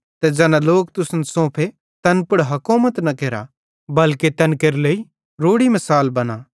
ते ज़ैना लोक तुसन सोंफे तैन पुड़ हकोमत न केरा बल्के तैन केरे लेइ रोड़ी मिसालां बना